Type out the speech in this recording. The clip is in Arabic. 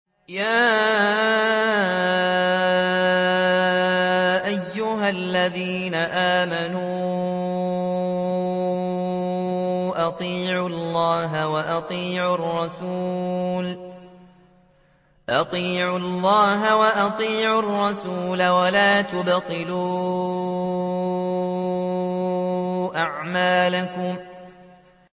۞ يَا أَيُّهَا الَّذِينَ آمَنُوا أَطِيعُوا اللَّهَ وَأَطِيعُوا الرَّسُولَ وَلَا تُبْطِلُوا أَعْمَالَكُمْ